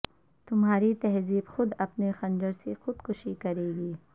تمہاری تہذیب خود اپنے خنجر سے خودکشی کرے گی